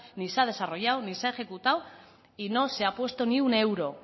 ni se ha desarrollado ni se ha ejecutado y no se ha puesto ni un euro